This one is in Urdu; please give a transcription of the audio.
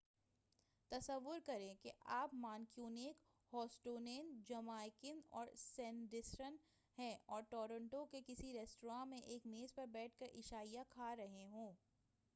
تصور کریں کہ آپ کوئی مانکونین بوسٹونین جمائکن اور سڈنیسیڈر ہیں اور ٹورنٹو کے کسی رستوراں میں ایک میز پر بیٹھ کر عشائیہ کھا رہے ہوں